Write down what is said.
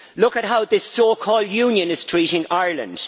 Look at how this so-called Union is treating Ireland.